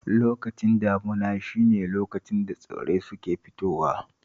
Lokacin damuna shi ne lokacin da tsirrai suke fitowa